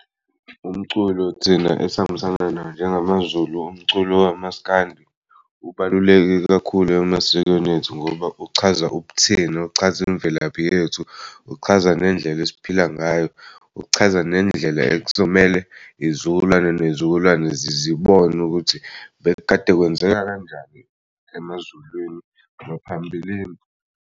Umculo thina esihambisana nawo njengamaZulu umculo wamaskandi. Ubaluleke kakhulu emasikweni ethu ngoba uchaza ubuthina, uchaza imvelaphi yethu, uchaza nendlela esiphila ngayo, ukuchaza nendlela ekuzomele izizukulwane ney'zukulwane zibone ukuthi bekukade kwenzeka kanjani emaZulwini ngaphambilini.